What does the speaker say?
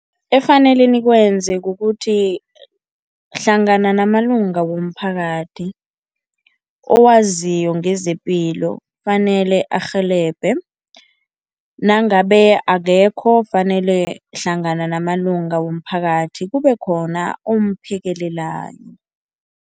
Efanele nikwenze kukuthi, hlangana namalunga womphakathi owaziko ngezepilo kufanele arhelebhe nangabe akekho fanele hlangana namalunga womphakathi kube khona umphekelelani.